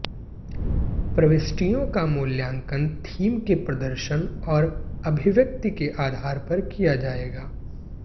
प्रविष्टियों का मूल्यांकन थीम के प्रदर्शन और अभिव्यक्ति के आधार पर किया जाएगा